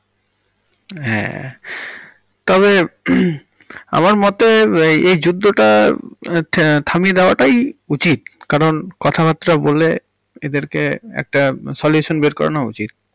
হ্যাঁ তবে হুম আমার মতে এই যুদ্ধটা থামিয়া দেওয়াটাই উচিত, কারণ কথাবার্তা বলে এদেরকে একটা solution বের করে নেওয়া উচিত।